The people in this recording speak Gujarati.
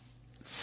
S also